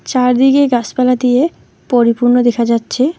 চারদিকে গাছপালা দিয়ে পরিপূর্ণ দেখা যাচ্ছে।